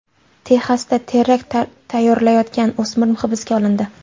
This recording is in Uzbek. Texasda terakt tayyorlayotgan o‘smir hibsga olindi.